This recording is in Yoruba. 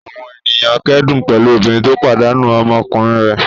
Àwọn ènìyàn kẹ́dùn pẹ̀lú obìnrin tó pàdánù ọmọkùnrin rẹ̀.